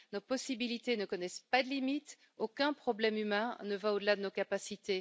Nos possibilités ne connaissent pas de limites, aucun problème humain ne va au delà de nos capacités.